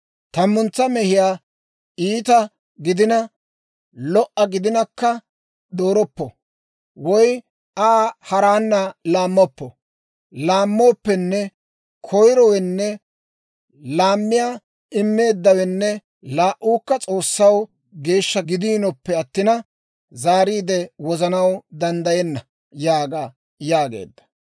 Tammuntsa mehiyaa iita gidina lo"o gidinakka dooroppo; woy Aa haraana laammoppo. Laammooppenne koyirowenne laamiyaa immeeddawenne laa"uukka S'oossaw geeshsha gidiinoppe attina, zaariide wozanaw danddayenna› yaaga» yaageedda.